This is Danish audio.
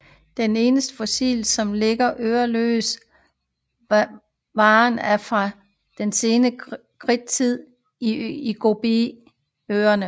De eneste fossiler som ligner øreløs varan er fra sen kridt i Gobiørkenen